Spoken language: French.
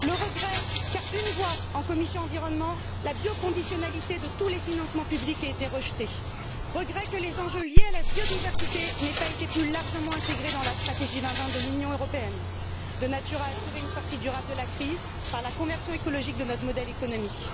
le regret, qu'à une voix, en commission environnement, la bioconditionnalité de tous les financements publics ait été rejetée, le regret que les enjeux liés à la biodiversité n'aient pas été plus largement intégrés dans la stratégie 2020 de l'Union européenne, de nature à assurer une sortie durable de la crise par la conversion écologique de notre modèle économique.